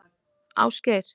Ásgeir